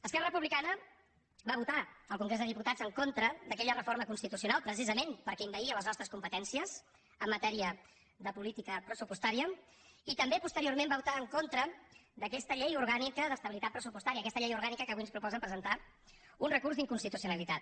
esquerra republicana va votar al congrés dels diputats en contra d’aquella reforma constitucional precisament perquè envaïa les nostres competències en matèria de política pressupostària i també posteriorment va votar en contra d’aquesta llei orgànica d’estabilitat pressupostària aquesta llei orgànica contra la qual avui ens proposen presentar un recurs d’inconstitucionalitat